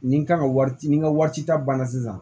Nin kan ka wari ci ni n ka wari ci ta banna sisan